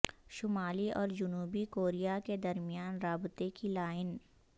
شمالی اور جنوبی کوریا کے درمیان رابطے کی لائن